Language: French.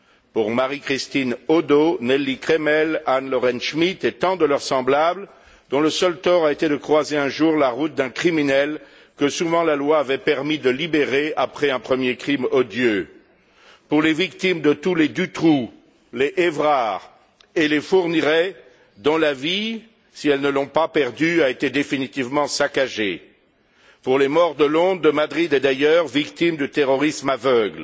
pour Marie Christine Hodeau, Nelly Cremel, Anne Lorraine Schmitt et tant de leurs semblables, dont le seul tort a été de croiser un jour la route d'un criminel que, souvent, la loi avait permis de libérer après un premier crime odieux, pour les victimes de tous les Dutroux, les Evrard et les Fourniret, dont la vie si elles ne l'ont pas perdue, a été définitivement saccagée, pour les morts de Londres, de Madrid et d'ailleurs, victimes du terrorisme aveugle.